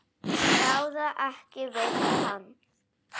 Ráða ekki við hann.